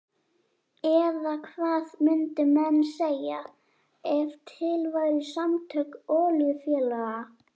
Eða hvað myndu menn segja ef til væru samtök olíufélaga?